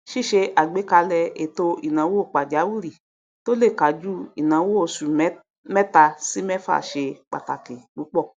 ṣíṣe àgbékalẹ ètò ìnáwó pàjáwìrì tó lè kájú ìnáwó oṣù mẹta sí mẹfà ṣe pàtàkì púpọ